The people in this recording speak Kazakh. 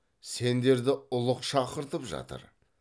сендерді ұлық шақыртып жатыр